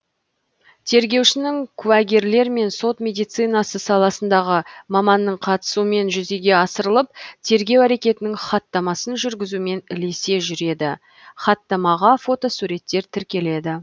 тергеушінің куәгерлер мен сот медицинасы саласындағы маманның қатысуымен жүзеге асырылып тергеу әрекетінің хаттамасын жүргізумен ілесе жүреді хаттамаға фотосуреттер тіркеледі